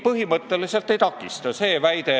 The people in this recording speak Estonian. Põhimõtteliselt mitte miski ei takista.